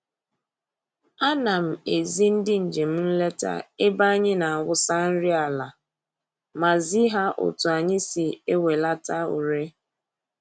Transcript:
A na m ezi ndị njem nleta ebe anyị na-awụsa nri ala ma zi ha otu anyị si ewelata ure